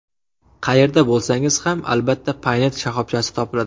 Qayerda bo‘lsangiz ham, albatta Paynet shoxobchasi topiladi.